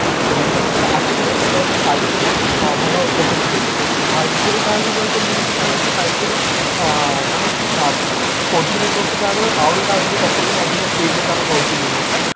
ତ network ଯେତେତବେଳେ ଆସିପାରିବ ସେତେବେଳେ ତମେ five G ର ଭଲ ଉପଭୋଗ କରି ପାରିବ ତ five G ର କହିବାକୁ ଗଲେ ତ ମୁଁ ଯେତିକି ଜାଣିଛି five G ର ଆଁ ମାନେ ଅ four G network ତ କହିବାକୁ ଗଲେ ଆହୁରି ତାଠୁ ବି ଦଶଗୁଣ ଅଧିକ speed ରେ ତାର ରହୁଛି limit ଟା